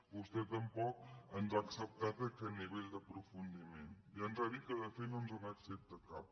vostè tampoc ens ha acceptat aquest nivell d’aprofundiment i ens ha dit que de fet no ens n’accepta cap